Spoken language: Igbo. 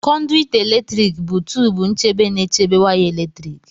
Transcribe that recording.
Conduit eletrik bụ tubu nchebe na-echebe waya eletrik.